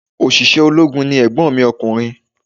Òṣìṣẹ́ ológun ni ègbon mi ọkùnrin